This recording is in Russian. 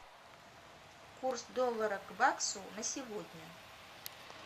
курс доллара к баксу на сегодня